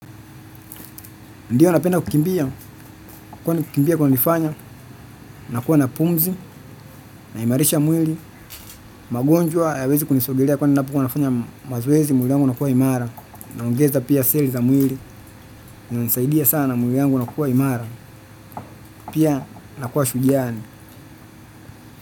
Ndiyo napenda kukimbia, kwani kukimbia kunanifanya, nakuwa na pumzi, na imarisha mwili, magonjwa haya wezi kunisogelea kwani ninapokua nafanya mazoezi mwili wangu unakuwa imara, naongeza pia seli za mwili, unanisaidia sana mwili wangu unakuwa imara, pia nakuwa shujaa.